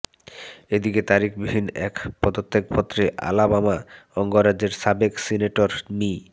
এদিকে তারিখবিহীন এক পদত্যাগ পত্রে আলাবামা অঙ্গরাজ্যের সাবেক সিনেটর মি